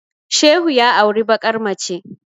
Shehu ya auri bakar mace